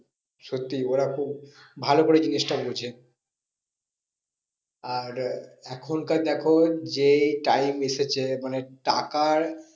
সত্যি ওরা খুব ভালো করে জিনিসটা বোঝে আর এখনকার দেখো যে time এসেছে মানে টাকার